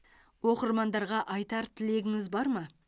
оқырмандарға айтар тілегіңіз бар ма